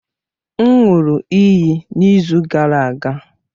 M ṅụụrụ iyi n'izu gara aga.